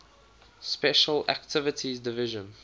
special activities division